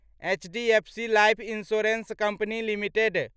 HDFC life insurance company limited